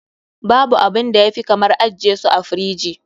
Babu abinda ya fi kamar ajje su a firiji.